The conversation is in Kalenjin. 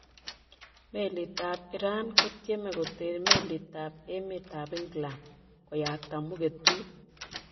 Melit an Iran kotyeme koter melitab emetab England koyakta mugetut